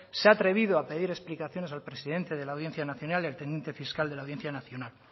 se ha atrevido a pedir explicaciones al presidente de la audiencia nacional y al teniente fiscal de la audiencia nacional